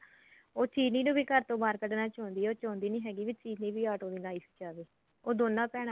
ਉਹ ਚਿਰੀ ਨੂੰ ਵੀ ਘਰ ਤੋਂ ਬਾਹਰ ਕੱਢਨਾ ਚਾਉਂਦੀ ਐ ਉਹ ਚਾਉਂਦੀ ਨੀ ਹੈਗੀ ਵੀ ਚਿਰੀ ਵੀ ਆਟੋ ਦੀ life ਚ ਆਵੇ ਉਹ ਦੋਨਾ ਭੈਣਾ